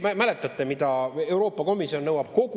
Mäletate, mida Euroopa Komisjon nõuab?